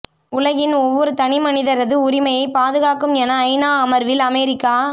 உலகின் ஒவ்வொரு தனிமனிதரது உரிமையை பாதுகாக்கும் என ஐநா அமர்வில் அமேரிக்கா